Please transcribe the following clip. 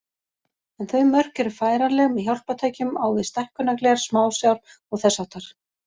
En þau mörk eru færanleg með hjálpartækjum á við stækkunargler, smásjár og þess háttar.